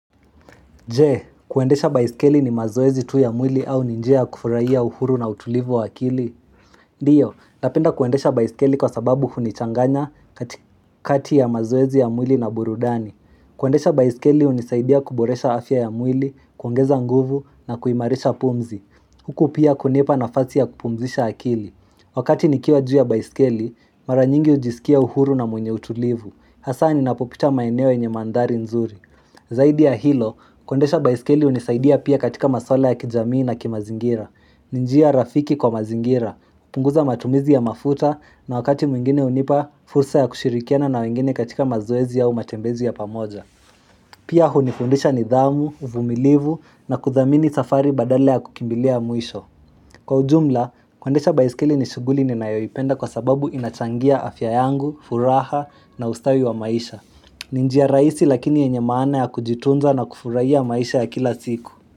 Je, kuendesha baisikeli ni mazoezi tu ya mwili au ni njia ya kufurahia uhuru na utulivu wa akili? Ndiyo, napenda kuendesha baisikeli kwa sababu hunichanganya kati kati ya mazoezi ya mwili na burudani. Kuendesha baisikeli hunisaidia kuboresha afya ya mwili, kuongeza nguvu na kuimarisha pumzi. Huku pia kunipa nafasi ya kupumzisha akili. Wakati nikiwa juu ya baisikeli, mara nyingi ujisikia uhuru na mwenye utulivu. Hasa ni napopita maeneo yenye mandhari nzuri. Zaidi ya hilo, kuendesha baiskeli unisaidia pia katika maswala ya kijamii na kimazingira. Ni njia rafiki kwa mazingira, hupunguza matumizi ya mafuta na wakati mwingine hunipa, fursa ya kushirikiana na wengine katika mazoezi au matembezi ya pamoja Pia hunifundisha nidhamu, uvumilivu na kudhamini safari badala ya kukimbilia mwisho. Kwa ujumla, keundesha baiskeli ni shughuli ni nayoipenda kwa sababu ina changia afya yangu, furaha na ustawi wa maisha ni njiya rahisi lakini yenye maana ya kujitunza na kufurahia maisha ya kila siku.